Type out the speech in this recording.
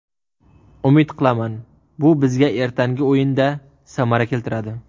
Umid qilaman, bu bizga ertangi o‘yinda samara keltiradi.